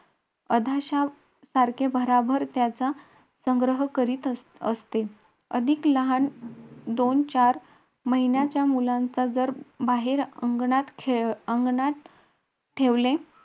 अधाशासारखे भराभर त्याचा संग्रह करीत असते. अगदी लहान दोनचार महिन्यांच्या मुलाला जर बाहेर अंगणात ठे अं अंगणात ठेवले,